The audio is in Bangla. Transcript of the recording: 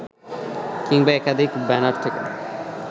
কিংবা একাধিক ব্যানার থেকে